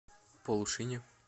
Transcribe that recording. полушине